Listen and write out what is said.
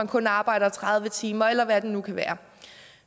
kun arbejdes tredive timer eller hvad det nu kan være